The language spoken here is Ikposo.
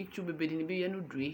Itsu bebe dini bi ya n'ʋduɛ